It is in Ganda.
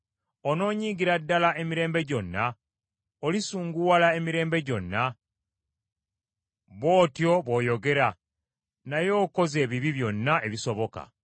onoonyiigira ddala emirembe gyonna, olisunguwala emirembe gyonna? Bw’otyo bw’oyogera, naye okoze ebibi byonna ebisoboka.